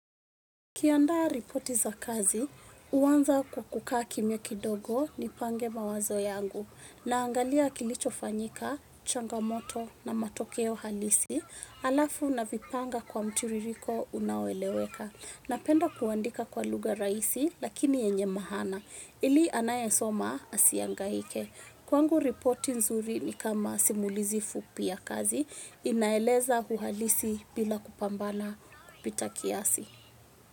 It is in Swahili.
Kiandaa ripoti za kazi, huanza kwa kukaa kimya kidogo ni pange mawazo yangu. Naangalia kilicho fanyika, changamoto na matokeo halisi, alafu na vipanga kwa mtiririko unaoeleweka. Napenda kuandika kwa luga raisi, lakini yenye mahana. Ili anayesoma asiangaike. Kwangu ripoti nzuri ni kama simulizi fupi ya kazi, inaeleza uhalisi bila kupambana kupita kiasi.